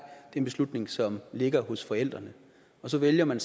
en beslutning som ligger hos forældrene og så vælger man